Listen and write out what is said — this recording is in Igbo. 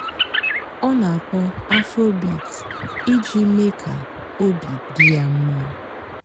ọ́ nà-àkpọ́ afróbeat ìjì méé kà óbị́ dị́ yá m̀má.